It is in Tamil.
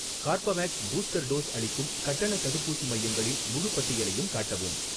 கார்பவேக்ஸ் பூஸ்டர் டோஸ் அளிக்கும் கட்டணத் தடுப்பூசி மையங்களின் முழுப் பட்டியலையும் காட்டவும்.